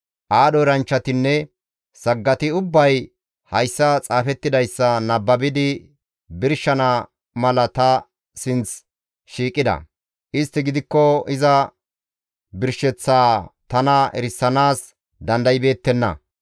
Aadho eranchchatinne saggati ubbay hayssa xaafettidayssa nababidi birshana mala ta sinththi shiiqida; istti gidikko iza birsheththaa tana erisanaas dandaybeettenna.